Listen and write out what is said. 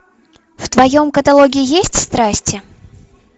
в твоем каталоге есть страсти